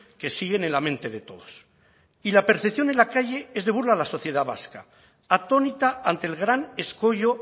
que siguen en la mente de todos y la percepción en la calle es de burla a la sociedad vasca atónita ante el gran escollo